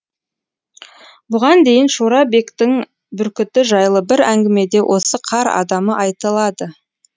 бұған дейін шора бектің бүркіті жайлы бір әңгімеде осы қар адамы айтылады